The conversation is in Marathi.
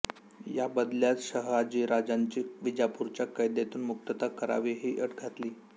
या बदल्यात शहाजीराजांची विजापूरच्या कैदेतून मुक्तता करावी ही अट घातली